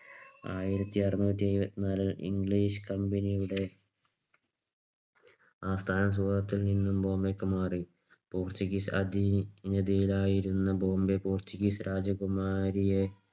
ആയിരത്തിഅറുനൂറ്റിഎഴുപതിനാല് English Company യുടെ ആസ്ഥാനം സൂറത്തിൽ നിന്നും ബോംബെയിലേക്ക് മാറി. പോർച്ചുഗീസ് അധീനതയിലായിരുന്ന ബോംബെ പോർച്ചുഗീസ് രാജകുമാരിയെ